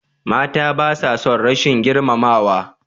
Mata basa son rashin girmamawa.